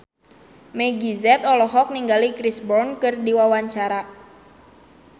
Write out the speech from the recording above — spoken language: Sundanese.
Meggie Z olohok ningali Chris Brown keur diwawancara